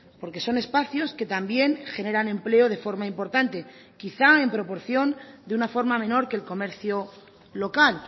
porque son espacios que también generan empleo de forma importante quizá en proporción de una forma menor que el comercio local